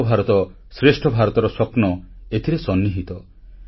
ଏକ ଭାରତ ଶ୍ରେଷ୍ଠ ଭାରତ ର ସ୍ୱପ୍ନ ଏଥିରେ ସନ୍ନିହିତ